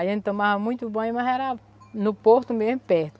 A gente tomava muito banho, mas era no porto mesmo, perto.